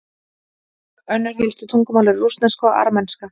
önnur helstu tungumál eru rússneska og armenska